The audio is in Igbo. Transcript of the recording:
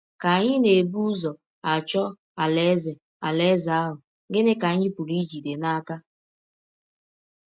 Ka anyị na - ebụ ụzọ achọ Alaeze Alaeze ahụ, gịnị ka anyị pụrụ ijide n’aka?